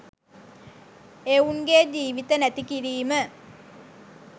එවුන්ගෙ ජීවිත නැති කිරීම